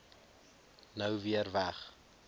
nou weer weg